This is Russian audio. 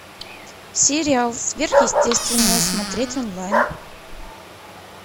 сериал сверхъестественное смотреть онлайн